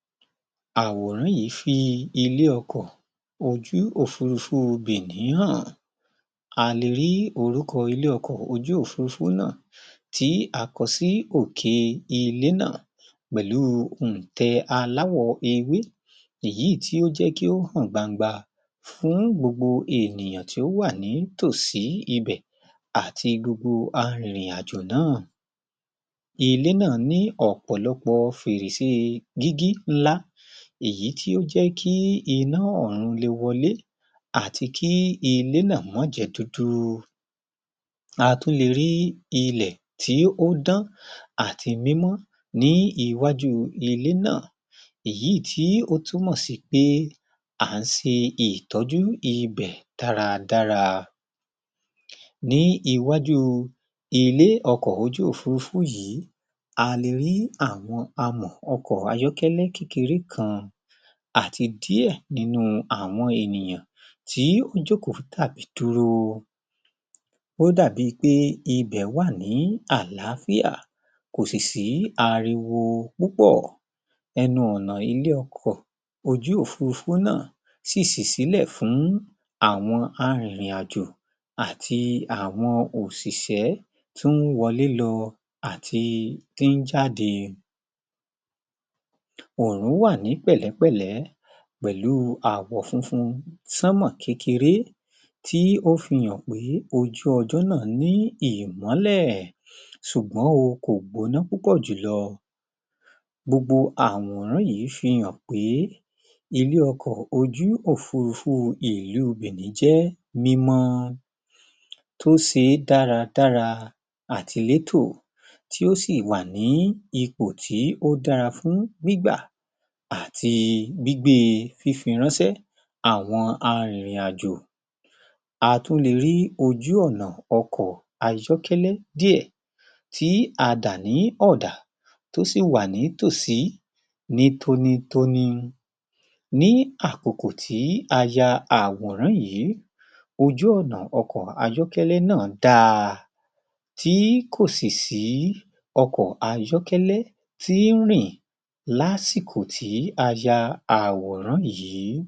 Pàṣipàrò pàápàá jùlọ pàṣípàrọ̀ oun irè oko irè oko ó jẹ́ tàbí ní àkótán oúnjẹ ó jẹ́ ọ̀kan lára àwọn ohun pàtàkì tí ènìyàn nílò, ó jẹ́ ọ̀kan lára ìní pàtàkì tí ènìyàn gbójúlé tó gbáralé tí a kò sì lè ṣe láì ní torípé ó jẹ́ kí ènìyàn wà láyé kó wà láàyè. ọ̀ná tí, ara ọ̀nà tí wọ́n ń lò ní ayé àtijọ́ láti fi ní oríṣiríṣi àti onírúurú oúnjẹ òun ní pípàrọ̀ jẹ̀. ó jẹ́ ọ̀nà ènìyàn méjì bá gbà láti fi ṣe pàṣípàrọ̀ ohun tí ẹnìkan ní tí ẹnìkan ò ní. ọ̀kán lè ní ọkà kí òmíràn ní ata, ẹni tí ò ní ọkà lè má ni ata, kí ẹni tí ó ní ọkà kó mà ní ata. Irú àkókò bẹ́ẹ̀, wọ́n lè jọ pa ohùn pọ̀ wọ́n ní kí pátàkì tí wọ́n fi lè ní ohun tí àwọn méjèèjì nílò. Ní ìgbà tí a bá ṣe irú ǹkan mo iṣẹ́ pàtàkì ohun ọ̀gbìn, irè oko, iṣẹ́ pàtàkì tí àgbẹ̀ ń ṣe láti fi pèse oúnjẹ àti ohun tí ó jẹ́ kí a lè mọ̀ wípé iṣẹ́ àgbẹ̀ ó ṣe pàtàkì, ó sì jẹ́ ohun takuntakun fún ìran ènìyàn.